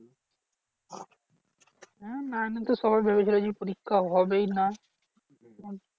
হ্যাঁ nine এ তো সবার ভেবেছিলো যে পরীক্ষা হবেই না।